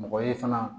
Mɔgɔ ye fana